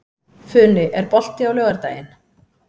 Funi, er bolti á laugardaginn?